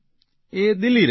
એ દિલ્હી રહે છે